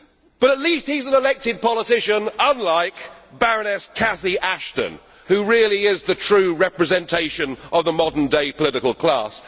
But at least he is an elected politician, unlike Baroness Cathy Ashton, who really is the true representation of the modern day political class.